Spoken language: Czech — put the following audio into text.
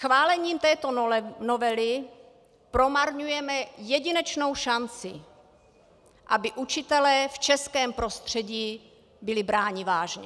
Schválením této novely promarňujeme jedinečnou šanci, aby učitelé v českém prostředí byli bráni vážně.